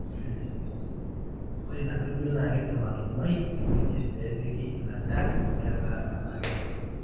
ore ena pirbil na kindimi atunguai teweuji pepiki ina duct meeta kebolo.